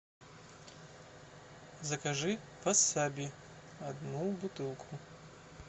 закажи васаби одну бутылку